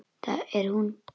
Það er hún.